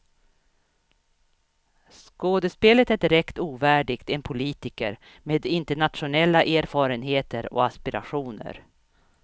Skådespelet är direkt ovärdigt en politiker med internationella erfarenheter och aspirationer.